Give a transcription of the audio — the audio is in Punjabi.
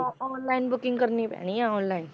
ਅ~ online booking ਕਰਨੀ ਪੈਣੀ ਹੈ online